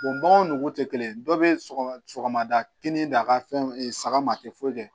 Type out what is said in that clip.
baganw nugu tɛ kelen ye dɔ bɛ sɔgɔ sɔgɔmada kinin da ka fɛn saga ma a tɛ foyi kɛ